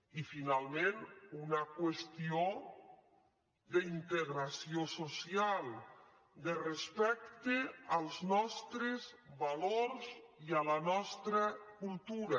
i finalment una qüestió d’integració social de respecte als nostres valors i a la nostra cultura